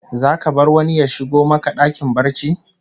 Zaka bar wani ya shigo maka dakin barci?